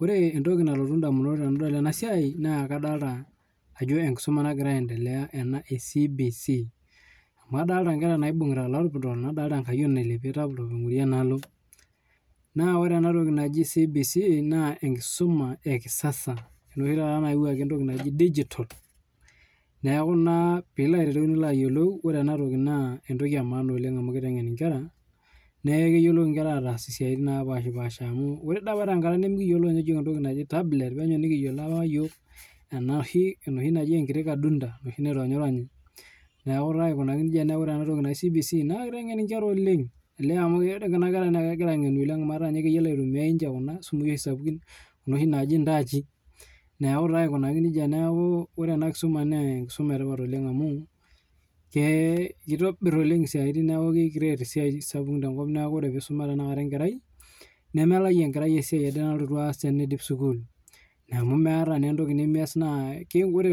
Ore entoki nalotu edamunot tenadol ena mbae naa enkisuma ee CBC amu kadolita enkayioni nailepie laptop nadolita oloingorie laptop enaalo naa ore enatoki naaji CBC naa enkisuma ee kisasa enoshi nayawuaki entoki naaji digital neeku ore ena toki naa entoki emaana oleng amu kitengen Nkera neeku keyiolo Nkera ataas mbaa napashipasha amu ore doi apa tenkata ang nimikiyiolo entoki najii tabuleti penyo nikiyiolo enoshi najii enkadunda enoshi naironyironyi neeku ore ena toki naaji CBC naa kitengen enkera oleng olee amu kuna kera netengenita oleng amu etaa keyiolo aitumia Kuna simui sapukin Kuna oshi naaji entaachi neeku ore ena kisuma naa enetipat oleng amu kitobir oleng esiatin neeku kicreate esiatin kumok oleng neeku ore pee eisuma tanakata enkerai nemelayu enkerai esiai nalotu aas tenidip sukuul naa